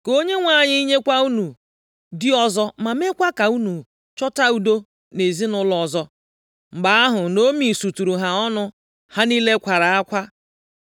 Ka Onyenwe anyị nyekwa unu di ọzọ ma meekwa ka unu chọta udo nʼezinaụlọ ọzọ.” Mgbe ahụ Naomi suturu ha ọnụ, ha niile kwara akwa.